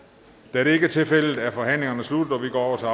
da det ikke er tilfældet er forhandlingen sluttet og vi går til